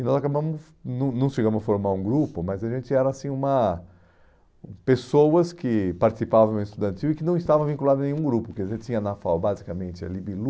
E nós acabamos, não não chegamos a formar um grupo, mas a gente era assim uma... Pessoas que participavam em uma estudantil e que não estavam vinculadas a nenhum grupo, porque a gente tinha na FAU basicamente a LIBILU,